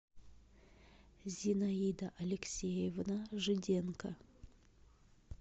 зинаида алексеевна жиденко